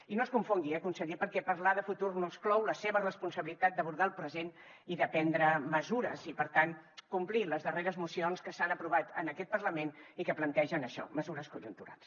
i no es confongui eh conseller perquè parlar de futur no exclou la seva responsabilitat d’abordar el present i de prendre mesures i per tant complir les darreres mocions que s’han aprovat en aquest parlament i que plantegen això mesures conjunturals